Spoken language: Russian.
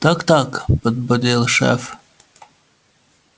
так-так подбодрил шеф